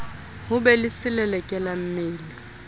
ho be le selelekela mmele